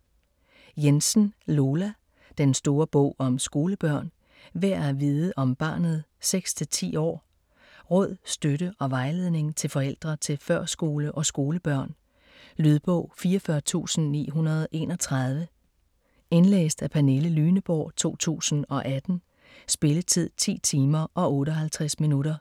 Jensen, Lola: Den store bog om skolebørn: værd at vide om barnet 6-10 år Råd, støtte og vejledning til forældre til førskole- og skolebørn. Lydbog 44931 Indlæst af Pernille Lyneborg, 2018. Spilletid: 10 timer, 58 minutter.